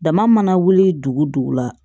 Dama mana wuli dugu dugu la